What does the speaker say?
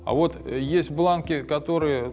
а вот есть бланки которые